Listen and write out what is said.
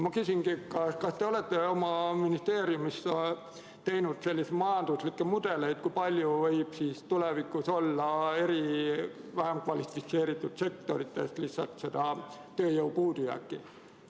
Ma küsingi, kas te olete oma ministeeriumis teinud majanduslikke mudeleid, kui palju võib tulevikus olla vähem kvalifitseeritud sektorites tööjõu puudujääki.